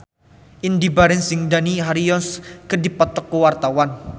Indy Barens jeung Dani Harrison keur dipoto ku wartawan